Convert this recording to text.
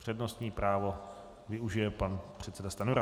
Přednostní právo využije pan předseda Stanjura.